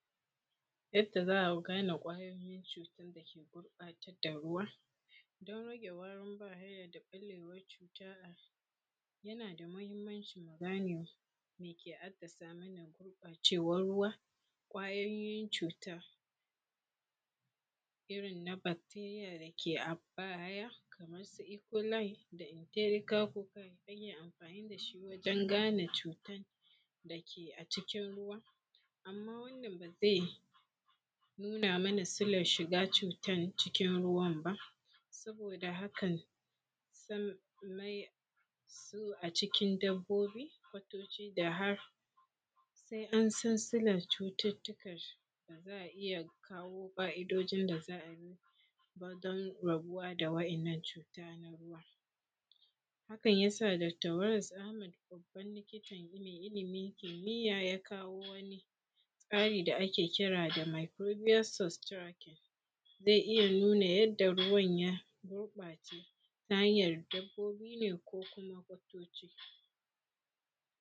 Yadda za a gane ƙwayoyin cuuta dake gurɓatar da ruwa. Don rage warin bahaya da ɓallewar cuuta. Yana da muhimmanci mu gane me ke assasa mana gurɓacewar ruwa ƙayoyin cuuta irin na bacteria dake a baya kamar su ecoli da empirical fungi hanyar amfaani da shi wuajen gane cuutan dake acikin ruwa amma wannan baa zai nuna mana silar shiga cuutar cikin ruwan baa, sabooda hakan sun mai sun acikin dabbobi kwatoci da har sai an san silar cututtuka da za a iya kawo ƙa’idoojin da za a iya bi don rabuwa da wa’innan cuuta na ruwa hakan yasa dakta Waris Ahmad babban likita mai ilimin kimiyya ya kawo wani tsari da ake kira da microbios sustracking zai iya nuna yadda ruwan ya gurɓaace ta hanyar dabbobi ne ko kuma kwatoci.